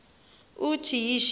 uthi yishi endiza